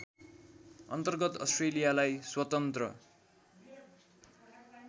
अन्तर्गत अस्ट्रेलियालाई स्वतन्त्र